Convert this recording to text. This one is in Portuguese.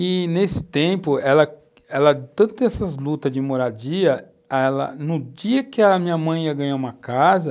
E, nesse tempo, ela ela tanto essas lutas de moradia... ela no dia em que a minha mãe ia ganhar uma casa,